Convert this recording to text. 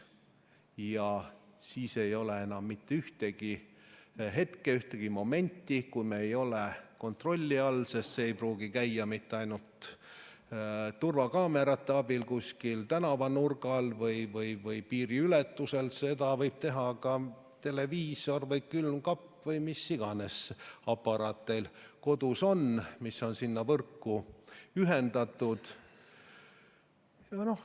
Ja siis ei ole enam mitte ühtegi hetke, ühtegi momenti, kui me ei ole kontrolli all, sest see ei pruugi käia mitte ainult turvakaamerate abil kuskil tänavanurgal või piiriületusel, vaid seda võib teha ka televiisor, külmkapp või mis tahes aparaat teil kodus on, mis on sinna võrku ühendatud.